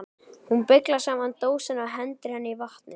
Hún beyglar saman dósina og hendir henni í vatnið.